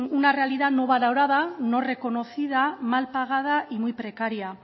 una realidad no valorada no reconocida mal pagada y muy precaria